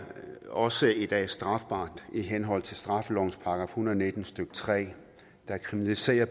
også strafbart i i henhold til straffelovens § en hundrede og nitten stykke tre der kriminaliserer